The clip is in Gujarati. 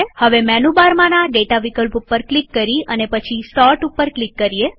હવે મેનુ બારમાંના ડેટા વિકલ્પ ઉપર ક્લિક કરી અને પછી સોર્ટ ઉપર ક્લિક કરીએ